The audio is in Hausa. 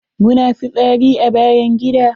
Muna fitsari a bayan gida.